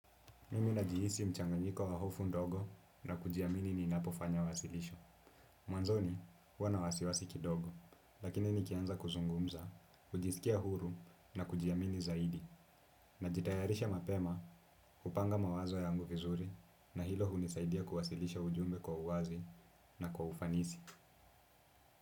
Mimi najihisi mchanganyiko wa hofu ndogo na kujiamini ninapofanya wasilisho. Mwanzoni huwa na wasiwasi kidogo, lakini nikianza kuzungumza, hujisikia huru na kujiamini zaidi, najitayarisha mapema hupanga mawazo yangu vizuri na hilo hunisaidia kuwasilisha ujumbe kwa uwazi na kwa ufanisi.